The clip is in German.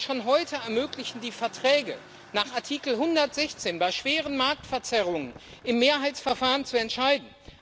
Schon heute ermöglichen es die Verträge, nach Artikel 116 bei schweren Marktverzerrungen im Mehrheitsverfahren zu entscheiden.